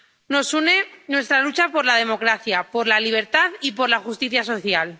nos une nuestra lucha por la democracia, por la libertad y por la justicia social.